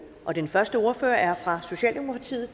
og den første ordfører er fra socialdemokratiet